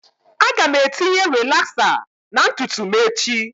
Aga m etinye rilaxer na ntutu m echi